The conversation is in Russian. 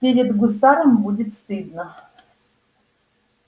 перед гусаром будет стыдно